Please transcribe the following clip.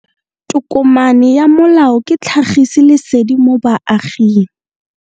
Tokomane ya molao ke tlhagisi lesedi go baagi.